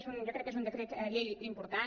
jo crec que és un decret llei important